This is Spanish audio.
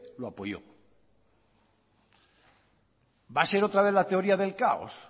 lo apoyó va a ser otra vez la teoría del caos